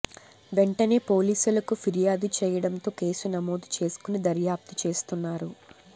వెంటనే పోలీసులకు ఫిర్యాదు చేయడంతో కేసు నమోదు చేసుకుని దర్యాప్తు చేస్తున్నారు